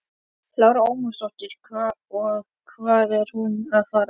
Lára Ómarsdóttir: Og hvert er hún að fara?